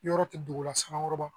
Yɔrɔ tɛ dugula sanga ba